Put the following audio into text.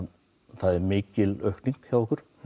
það er mikil aukning hjá okkur